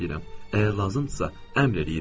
Əgər lazımdırsa əmr eləyirəm.